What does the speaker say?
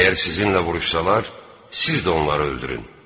Əgər sizinlə vuruşsalar, siz də onları öldürün.